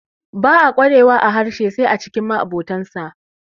ba a kwarewa a harshen sai a cikin ma abotansa